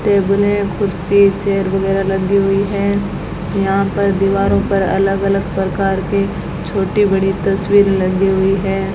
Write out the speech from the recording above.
टेबले कुर्सी चेयर वगैरा लगी हुई है यहां पर दीवारों पर अलग अलग प्रकार के छोटी बड़ी तस्वीर लगी हुई है।